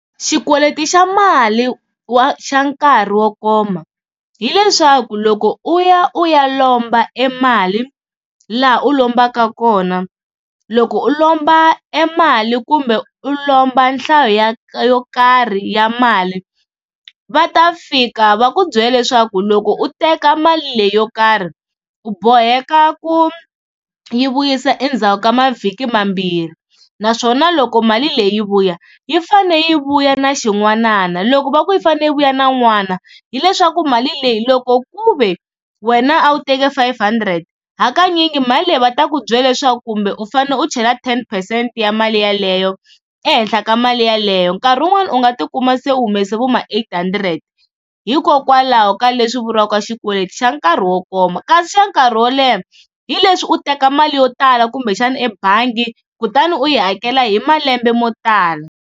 Xikweleti xa mali wa xa nkarhi wo koma hileswaku loko u ya u ya lomba e mali laha u lombaka kona, loko u lomba e mali kumbe u lomba nhlayo ya yo karhi ya mali va ta fika va ku byela leswaku loko u teka mali leyi yo karhi u boheka ku yi vuyisa endzhaku ka mavhiki mambirhi, naswona loko mali leyi vuya yi fane yi vuya na xin'wanana. Loko va ku yi fanele yi vuya na n'wana hileswaku mali leyi loko ku ve wena a wu teke five hundred hakanyingi mali leyi va ta ku byela leswaku kumbe u fanele u chela ten percent ya mali yeleyo ehenhla ka mali yeleyo, nkarhi wun'wana u nga tikuma se u humese vo ma eight hundred hikokwalaho ka leswi vuriwaka xikweleti xa nkarhi wo koma. Kasi xa nkarhi wo leha hi leswi u teka mali yo tala kumbexana ebangi kutani u yi hakela hi malembe mo tala